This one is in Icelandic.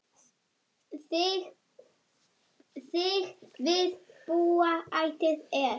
Þig við búa ætíð er